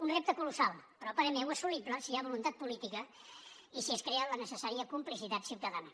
un repte colossal però a parer meu assolible si hi ha voluntat política i si es crea la necessària complicitat ciutadana